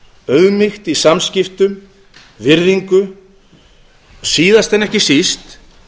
auðmýkt í samskiptum virðingu og síðast en ekki síst